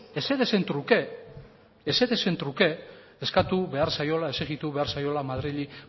ezerezen truke ezerezen truke eskatu behar zaiola exijitu behar zaiola madrili